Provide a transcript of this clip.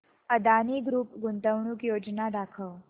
Adani group गुंतवणूक योजना दाखव